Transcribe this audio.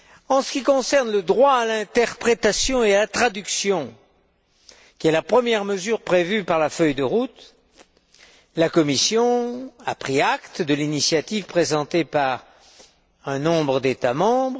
En ce qui concerne le droit à l'interprétation et à la traduction, qui est la première mesure prévue par la feuille de route, la Commission a pris acte de l'initiative présentée par un certain nombre d'États membres.